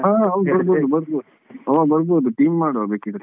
ಹಾ ಹೌದು ಬರ್ಬೋದು ಬರ್ಬೋದು ಹಾ ಬರ್ಬೋದು team ಮಾಡ್ವ ಬೇಕಿದ್ರೆ.